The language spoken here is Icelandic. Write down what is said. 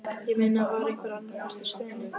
Ég meina, var einhver annar kostur í stöðunni?